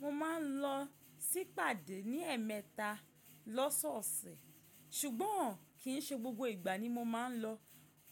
Mo máa ń lọ sí pàdé ní ẹ̀ẹ̀mẹta lọ́sọ̀ọ́ṣẹ̀, ṣùgbọ́n n kì ń ṣe gbogbo ìgbà ni mo máa ń lọ.